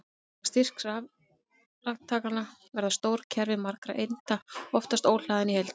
Vegna styrks rafkraftanna verða stór kerfi margra einda oftast óhlaðin í heild.